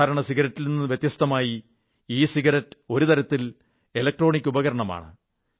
സാധാരണ സിഗരറ്റിൽ നിന്ന് വ്യത്യസ്തമായി ഇ സിഗരറ്റ് ഒരു തരത്തിൽ ഇലക്ട്രോണിക് ഉപകണമാണ്